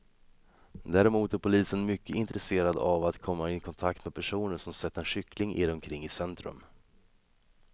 Däremot är polisen mycket intresserad av att komma i kontakt med personer som sett en kyckling irra omkring i centrum.